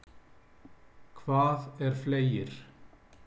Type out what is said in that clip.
Hvað er fleygir?